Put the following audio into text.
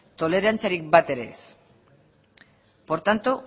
tolerantziarik bat ere ez por tanto